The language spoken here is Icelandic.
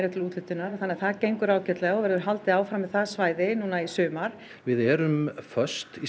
til úthlutunar þannig að það gengur ágætlega og verður haldið áfram með það svæði í sumar við erum föst í